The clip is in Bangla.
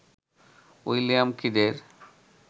উইলিয়াম কিডের